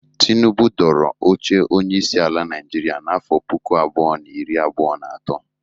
Tinubụ dọrọ oche onyeisi ala Naịjịrịa n'afọ puku abụọ na iri abụọ na atọ.